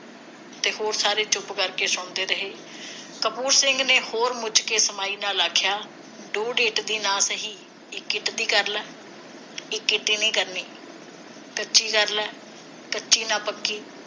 ਤੇ ਹੋਰ ਸਾਰੇ ਚੁੱਪ ਕਰਦੇ ਸੁਣਦੇ ਰਹੇ ਕਪੂਰ ਸਿੰਘ ਨੇ ਹੋਰ ਕੇ ਕਮਾਈ ਨਾ ਆਖਿਆ ਡੂਡ ਇੱਟ ਦੀ ਨਾ ਸਹੀ ਇਕ ਇੱਟ ਦੀ ਕਰਲਾ ਇਕ ਕੀਤੀ ਨਹੀ ਕਰਨੀ ਕੱਚੀ ਕਰਲਾ ਕੱਚੀ ਨਾ ਪੱਕੀ